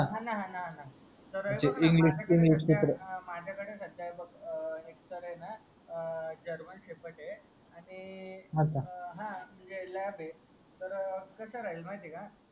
हा ना हा ना हा ना माझ्या कड सध्या ही बघ एक तर आहे ना अं GERMANSHEPARD आहे आणि LAB आहे आणि तर कस राहील माहिती आहे का